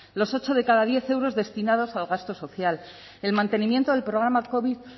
los ocho de cada diez euros destinados al gasto social el mantenimiento del programa covid